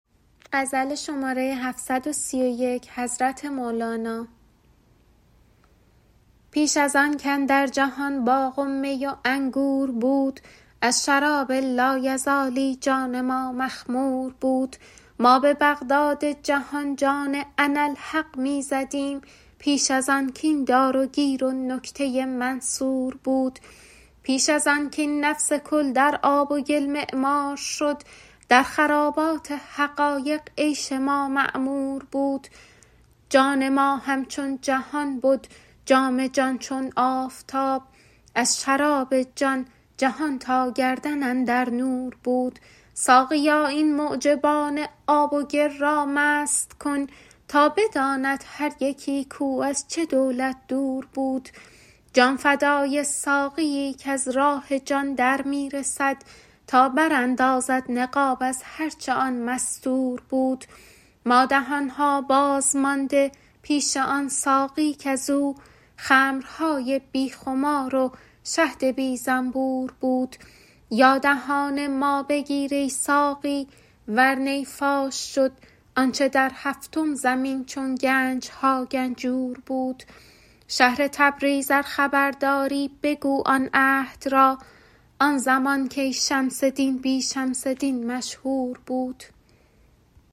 پیش از آن کاندر جهان باغ و می و انگور بود از شراب لایزالی جان ما مخمور بود ما به بغداد جهان جان اناالحق می زدیم پیش از آن کاین دار و گیر و نکته منصور بود پیش از آن کاین نفس کل در آب و گل معمار شد در خرابات حقایق عیش ما معمور بود جان ما همچون جهان بد جام جان چون آفتاب از شراب جان جهان تا گردن اندر نور بود ساقیا این معجبان آب و گل را مست کن تا بداند هر یکی کو از چه دولت دور بود جان فدای ساقیی کز راه جان در می رسد تا براندازد نقاب از هر چه آن مستور بود ما دهان ها باز مانده پیش آن ساقی کز او خمرهای بی خمار و شهد بی زنبور بود یا دهان ما بگیر ای ساقی ور نی فاش شد آنچ در هفتم زمین چون گنج ها گنجور بود شهر تبریز ار خبر داری بگو آن عهد را آن زمان کی شمس دین بی شمس دین مشهور بود